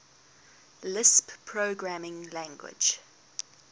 lisp programming language